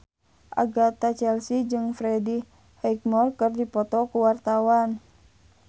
Agatha Chelsea jeung Freddie Highmore keur dipoto ku wartawan